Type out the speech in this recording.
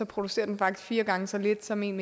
producerer den faktisk fire gange så lidt som en